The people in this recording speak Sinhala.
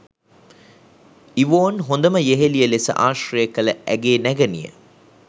ඉවෝන් හොඳම යෙහෙළිය ලෙස ආශ්‍රය කළ ඇගේ නැගණිය